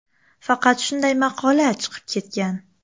Faqat shunday maqola chiqib ketgan.